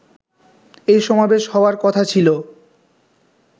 এই সমাবেশ হওয়ার কথা ছিলো